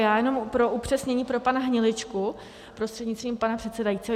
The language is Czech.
Já jenom pro upřesnění pro pana Hniličku prostřednictvím pana předsedajícího.